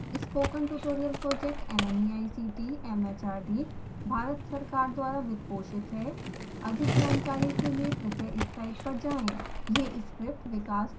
spoken tutorial project nmeict mhrd Bharat सरकार द्वारा वित्त पोषित है अधिक जानकारी के लिए कृपया इस साइट पर जाएं